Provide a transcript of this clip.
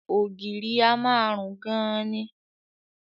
Ògiri a máa rùn gan-an ni